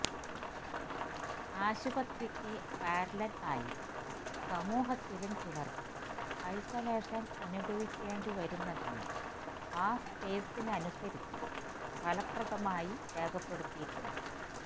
ആശുപത്രിക്കു parallel ആയി സമൂഹത്തിലും ചിലർക്ക് ഐസൊലേഷൻ അനുഭവിക്കേണ്ടി വരുന്നതിനെ ആ സ്പേസിനനുസരിച്ചും ഫലപ്രദമായി രേഖപ്പെടുത്തിയിട്ടുണ്ട്